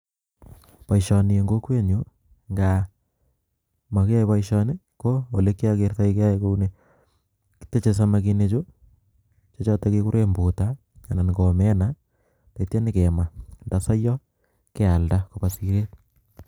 baishonineng kokwenyuu ndaa makywai basishoni , koo olee kya gertai basihoni ketechee samakinik che chotok keguree mbutaa ana ko omena atya nyee kemaa nda siya kealdaa